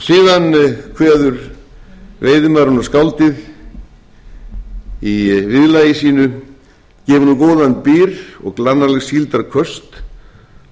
síðan kveður veiðimaðurinn og skáldið í viðlagi sínu gefum nú góðan byr og glannaleg síldarköst